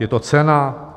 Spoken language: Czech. Je to cena?